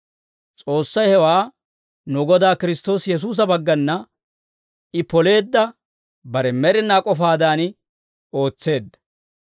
S'oossay hewaa nu Godaa Kiristtoosi Yesuusa baggana I poleedda bare med'inaa k'ofaadan ootseedda.